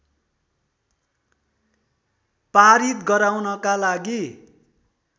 पारित गराउनका लागि